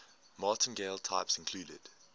martingale types include